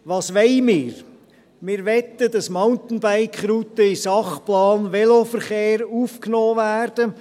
Was wollen wir: Wir möchten, dass Mountainbike-Routen in den Sachplan Veloverkehr aufgenommen werden.